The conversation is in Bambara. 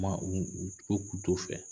ma u u ko k'u t'o fɛ.